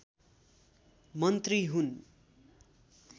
मन्त्री हुन्